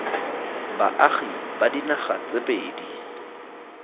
baagi ba dinaga tse pedi